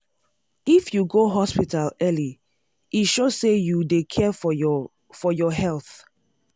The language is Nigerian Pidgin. if you go hospital early e show say you dey care for your for your health.